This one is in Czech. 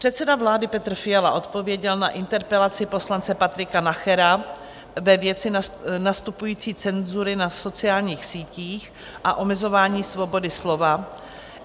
Předseda vlády Petr Fiala odpověděl na interpelaci poslance Patrika Nachera ve věci nastupující cenzury na sociálních sítích a omezování svobody slova.